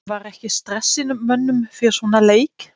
En var ekki stress í mönnum fyrir svona leik?